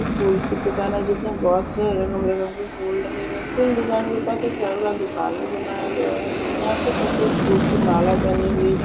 फूल की दुकान है जो की बहुत से रंग बिरंगे फूल लगे हुए है फूल दुकान के पास एक फल का दुकान भी बनाया गया है यहा पे सफ़ेद फूल की माला बनी हुई।